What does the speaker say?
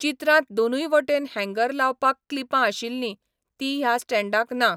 चित्रांत दोनूय वटेन हँगर लावपाक क्लिपां आशिल्लीं, तीं ह्या स्टॅण्डाक ना.